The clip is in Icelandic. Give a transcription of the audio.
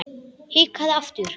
Hikaði aftur.